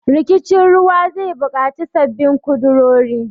Rikicin ruwa zai bukaci sabbin kudurori.